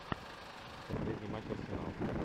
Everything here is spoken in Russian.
последний матч арсенал